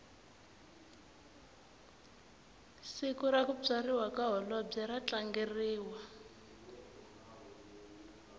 siku rakutswariwa kahholobwe ratlangeriwa